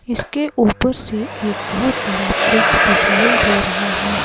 इसके ऊपर से एक बहोत बड़ा ब्रिज दिखाई दे रहा है।